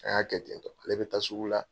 A y'a ne bɛ taa sugu la.